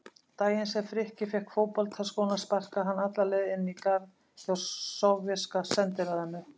Daginn sem Frikki fékk fótboltaskóna sparkaði hann alla leið inn í garð hjá Sovéska sendiráðinu.